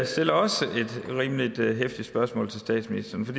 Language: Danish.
stiller også et rimelig heftigt spørgsmål til statsministeren for